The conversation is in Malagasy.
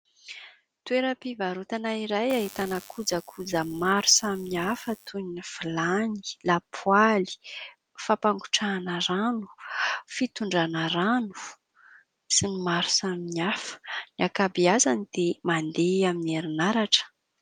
Toeram-pivarotana iray ahitana kojakoja maro samihafa toy ny: vilany, lapoaly, fampangotrahana rano, fitondrana rano sy ny maro samihafa; ny ankabeazany dia mandeha amin'ny herinaratra.